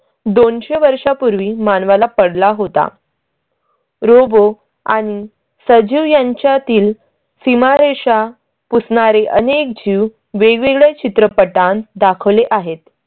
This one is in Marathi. दोनशे वर्षांपूर्वी मानवाला पडला होता. robot आणि सचिव यांच्यातील सीमारेषा पुसणारी अनेक जीव वेगवेगळ्या चित्रपटांत दाखवले आहेत.